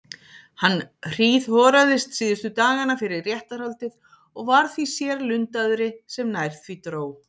Hann hríðhoraðist síðustu dagana fyrir réttarhaldið og varð því sérlundaðri sem nær því dró.